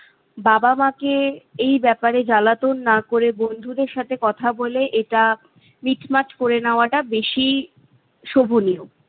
বাবা মাকে এই ব্যপারে জ্বালাতন না করে বন্ধুদের সাথে কথা বলে এটা মিটমাট করে নেওয়াটা বেশি শোভনীয়।